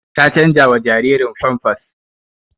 Ta canjawa jaririn famfas